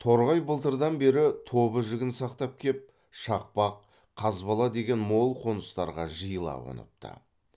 торғай былтырдан бері тобы жігін сақтап кеп шақпақ қазбала деген мол қоныстарға жиыла қоныпты